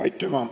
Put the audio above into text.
Aitüma!